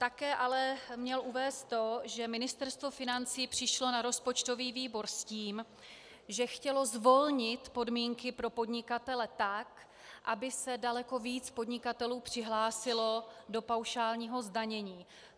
Také měl ale uvést to, že Ministerstvo financí přišlo na rozpočtový výbor s tím, že chtělo zvolnit podmínky pro podnikatele tak, aby se daleko víc podnikatelů přihlásilo do paušálního zdanění.